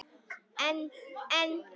En en.